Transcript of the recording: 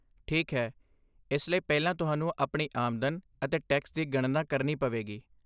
ਠੀਕ ਹੈ, ਇਸ ਲਈ ਪਹਿਲਾਂ ਤੁਹਾਨੂੰ ਆਪਣੀ ਆਮਦਨ ਅਤੇ ਟੈਕਸ ਦੀ ਗਣਨਾ ਕਰਨੀ ਪਵੇਗੀ।